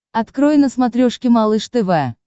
открой на смотрешке малыш тв